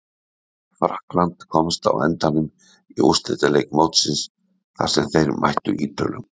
Frakkland komst á endanum í úrslitaleik mótsins þar sem þeir mættu Ítölum.